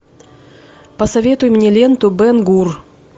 посоветуй мне ленту бен гур